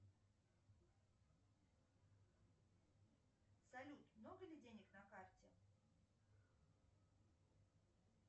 салют много ли денег на карте